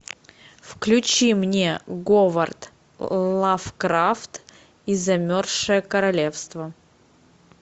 включи мне говард лавкрафт и замерзшее королевство